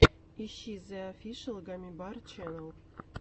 ищи зе офишэл гаммибар ченнел